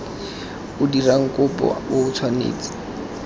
o dirang kopo o tshwanetse